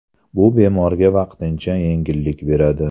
Bu bemorga vaqtincha yengillik beradi.